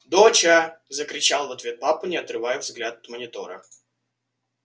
доча закричал в ответ папа не отрывая взгляд от монитора